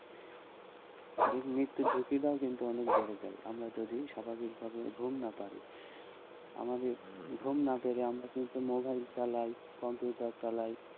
ওদিকে মৃত্যুর ঝুঁকিটাও কিন্তু অনেক বেড়ে যায় আমরা যদি স্বভাবিক ভাবে ঘুম না পারি, আমাদের ঘুম না পেলে আমরা কিন্তু মোবাইল চালাই কম্পিউটার চালাই,